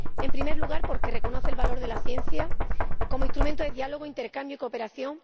En primer lugar, porque reconoce el valor de la ciencia como instrumento de diálogo, intercambio y cooperación.